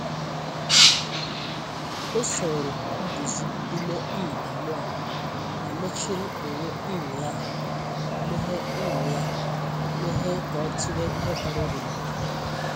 O soro nduzi ime um mmụọ, ma mechiri onwe um ya meghe um ya meghe ka o tụlee ihe bara uru n’ụwa.